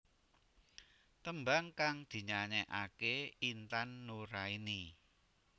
Tembang kang dinyanyekake Intan Nuraini